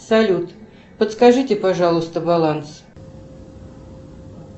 салют подскажите пожалуйста баланс